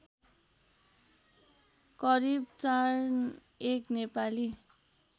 करिब ४१ नेपाली